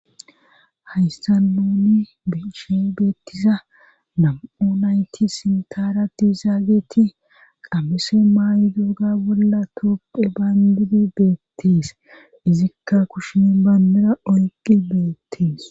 Haysta nuni beshe beettiza nam7u nayti sintarati zaageti qamese maayi dooga bolla koopphe baandidi beettees izikka kushin baandira oyqqi beettees